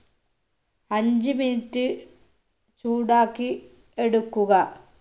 അഞ്ച് minute ചൂടാക്കി എടുക്കുക